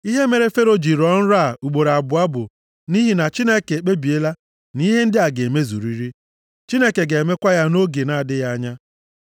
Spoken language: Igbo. Ihe mere Fero ji rọọ nrọ a ugboro abụọ bụ nʼihi na Chineke ekpebiela na ihe ndị a ga-emezuriri. Chineke ga-emekwa ya nʼoge na-adịghị anya.